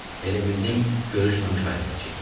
Elə bildim görüşməmiş ayrılacağıq.